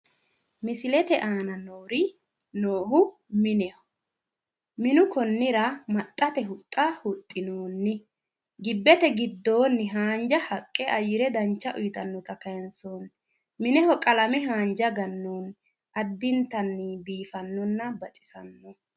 misilete aana noori noohu mineho minu konnira maxxate huxxa huxxinoonni gibbete giddoonni haanja haqqe ayyire dancha uyiitannota kayiinsoonni mineho qalame haanja gannoonni addintanni biifannonna